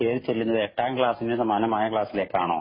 കേറിചെല്ലുന്നത് എട്ടാം ക്ലാസിനു സമാനമായ ക്ലാസിലേക്കാണോ